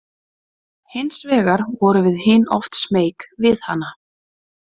Hins vegar vorum við hin oft smeyk við hana.